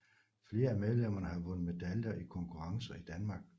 Flere af medlemmerne har vundet medaljer i konkurrencer i Danmark